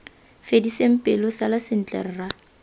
fediseng pelo sala sentle rra